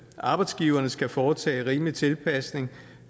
arbejdsgiverne skal foretage rimelig tilpasning